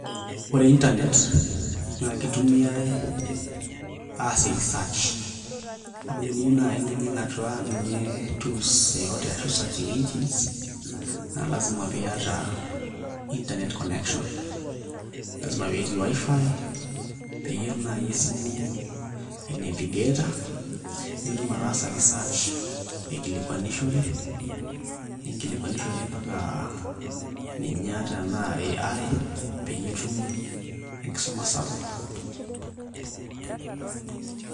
Ore internet naa kitumiai aasie research amu tenijing' atua ninye tools yeyote ashu searching engines naa lasima peyie iata internet connection lazima pee etii WiFi peyie etum naai esimu ainevigata nitum ataasa research aikilikuanishore ninkilikuanishore mpaka AI peyie itum enkisuma sapuk.